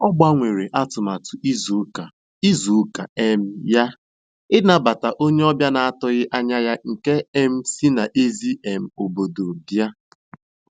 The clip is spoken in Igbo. Ọ gbanwere atụmatụ izu ụka izu ụka um ya ịnabata onye ọbịa na-atụghị anya ya nke um si n'èzí um obodo bịa.